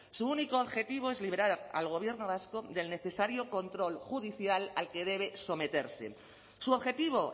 su único objetivo es liberar al gobierno vasco del necesario control judicial al que debe someterse su objetivo